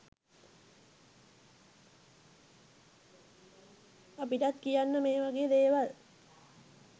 අපිටත් කියන්න මේ වගේ දේවල්